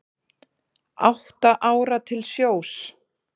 Átta ára til sjós